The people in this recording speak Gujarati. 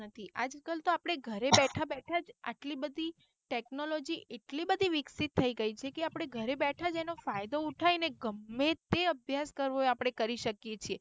આજ કલ તો આપડે ઘરે બેઠા બેઠા જ આટલી બધી technology એટલી બધી વિકસિત થઇ ગયી છે કે આપળે ઘરે બેઠાજ એનો ફાયદો ઉઠાઈ ને ગમે તે અભ્યાસ કરવો હોય આપડે કરી શકીયે છે.